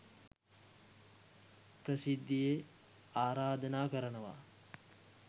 ප්‍රසිද්ධියේ ආරාධනා කරනවා